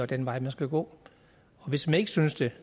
den vej vi skal gå og hvis man ikke synes det